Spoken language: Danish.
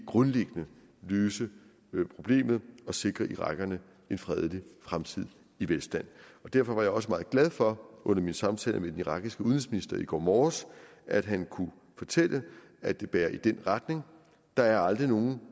grundlæggende løse problemet og sikre irakerne en fredelig fremtid i velstand derfor var jeg også meget glad for under min samtale med den irakiske udenrigsminister i går morges at han kunne fortælle at det bærer i den retning der er aldrig nogen